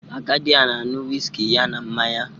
Agadi a na-añu whiskey ya na mmanya